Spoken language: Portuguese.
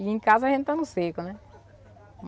E em casa a gente está no seco, né?